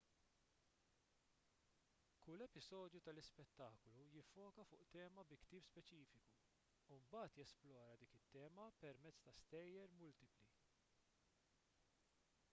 kull episodju tal-ispettaklu jiffoka fuq tema fi ktieb speċifiku u mbagħad jesplora dik it-tema permezz ta' stejjer multipli